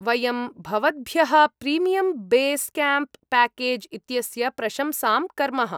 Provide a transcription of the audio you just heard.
वयं भवद्भ्यः premium base camp package इत्यस्य प्रशंसां कर्मः।